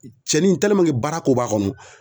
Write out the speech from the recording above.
Cɛni in baara ko b'a kɔnɔ